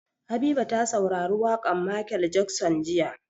Habiba ta saurari waƙar Michael Jackson jiya.